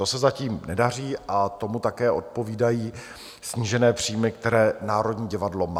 To se zatím nedaří a tomu také odpovídají snížené příjmy, které Národní divadlo má.